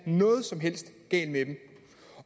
noget som helst galt med dem